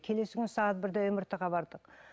келсі күні сағат бірде мрт ға бардық